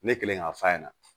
Ne kɛlen k'a f'a ɲɛna